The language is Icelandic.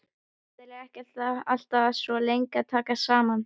Maður er alltaf svo lengi að taka saman.